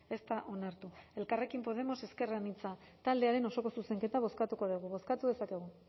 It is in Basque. ez da onartu elkarrekin podemos ezker anitza taldearen osoko zuzenketa bozkatuko dugu bozkatu dezakegu